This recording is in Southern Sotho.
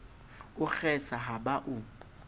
o kgesa ha ba o